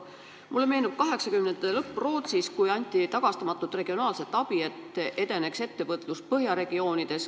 Mulle meenub 1980. aastate lõpp Rootsis, kui anti tagastamatut regionaalset abi, et edeneks ettevõtlus põhjaregioonides.